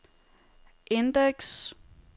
indeks